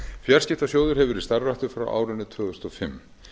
fjarskiptasjóður hefur verið starfræktur frá árinu tvö þúsund og fimm